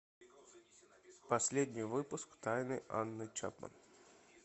последний выпуск тайны анны чапман